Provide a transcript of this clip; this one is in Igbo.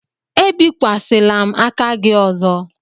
Ebikwasịla m aka gị ọzọ!